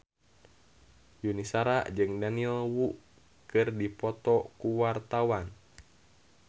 Yuni Shara jeung Daniel Wu keur dipoto ku wartawan